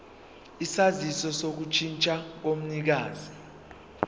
isaziso sokushintsha komnikazi